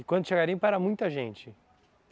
E quando tinha garimpo era muita gente?